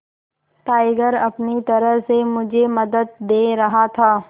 tiger अपनी तरह से मुझे मदद दे रहा था